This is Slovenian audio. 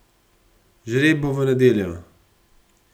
Žreb bo v nedeljo.